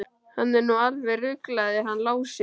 Hann er nú alveg ruglaður hann Lási.